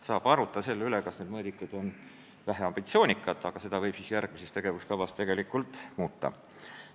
Saab arutada selle üle, kas need mõõdikud on väheambitsioonikad, aga neid võib järgmises tegevuskavas muuta.